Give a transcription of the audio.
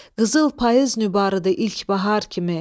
Qızıl payız nübarıdır ilk bahar kimi.